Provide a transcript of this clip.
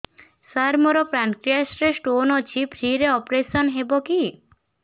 ସାର ମୋର ପାନକ୍ରିଆସ ରେ ସ୍ଟୋନ ଅଛି ଫ୍ରି ରେ ଅପେରସନ ହେବ କି